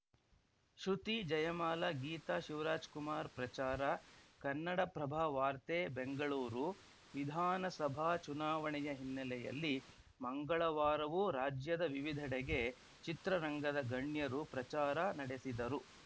ಶೃತಿ ಜಯಮಾಲ ಗೀತಾ ಶಿವರಾಜ್‌ಕುಮಾರ್‌ ಪ್ರಚಾರ ಕನ್ನಡಪ್ರಭವಾರ್ತೆ ಬೆಂಗಳೂರು ವಿಧಾನಸಭಾ ಚುನಾವಣೆಯ ಹಿನ್ನೆಲೆಯಲ್ಲಿ ಮಂಗಳವಾರವೂ ರಾಜ್ಯದ ವಿವಿಧೆಡೆಗೆ ಚಿತ್ರರಂಗದ ಗಣ್ಯರು ಪ್ರಚಾರ ನಡೆಸಿದರು